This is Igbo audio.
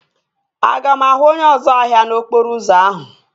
Aga m ahụ onye ọzu ahịa n'okporo ụzọ ahụ?